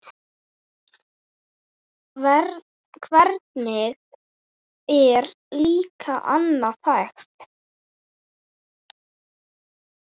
Hvernig er líka annað hægt?